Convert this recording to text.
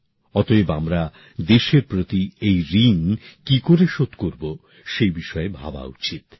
অতএব আমরা দেশের প্রতি এই ঋণ কি করে শোধ করব সেই বিষয়ে ভাবা উচিৎ